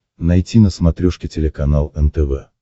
найти на смотрешке телеканал нтв